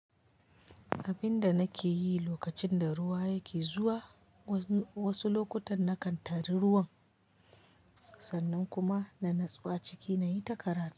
Abinda nake yi lokacin da ruwa yake zuwa, wasu lokutan na kan tari ruwan sannan kuma na natsu a ciki nayi ta karatu.